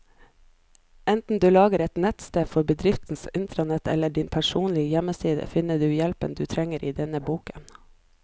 Enten du lager et nettsted for bedriftens intranett eller din personlige hjemmeside, finner du hjelpen du trenger i denne boken.